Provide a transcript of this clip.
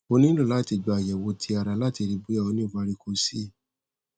o nilo lati gba ayẹwo ti ara lati rii boya o ni varicocoele